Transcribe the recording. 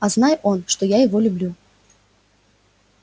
а знай он что я люблю его